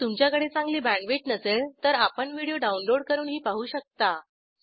जर तुमच्याकडे चांगली बॅण्डविड्थ नसेल तर आपण व्हिडिओ डाउनलोड करूनही पाहू शकता